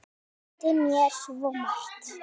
Hann kenndi mér svo margt.